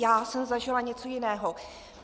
Já jsem zažila něco jiného.